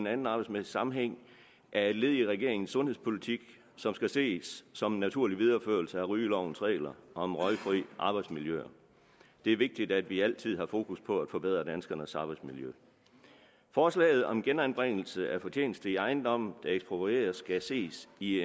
anden arbejdsmæssig sammenhæng er et led i regeringens sundhedspolitik som skal ses som en naturlig videreførelse af rygelovens regler om røgfri arbejdsmiljøer det er vigtigt at vi altid har fokus på at forbedre danskernes arbejdsmiljø forslaget om genanbringelse af fortjeneste i ejendomme der eksproprieres skal ses i